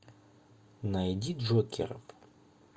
найди джокеров